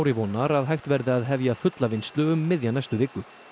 vonar að hægt verði að hefja fulla vinnslu um miðja næstu viku